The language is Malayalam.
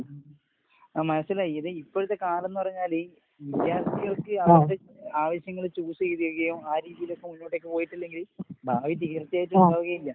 ഉം ആഹ് മനസ്സിലായി. ഇത് ഇപ്പഴത്തെ കാലന്ന് പറഞ്ഞാല് വിദ്യാർഥികൾക്ക് അവര്ടെ ആവശ്യങ്ങള് ചൂസെയ്‌തഴിയോം ആ രീതീലേക്ക് മുന്നോട്ടേക്ക് പോയിട്ടില്ലെങ്കില് ഭാവി തീർച്ചയായിട്ടും ഉണ്ടാവുകയില്ല.